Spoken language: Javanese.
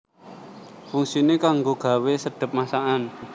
Fungsiné kanggo gawé sedhep masakan